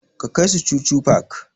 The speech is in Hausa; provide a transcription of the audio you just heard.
Ka kai su chuchu park!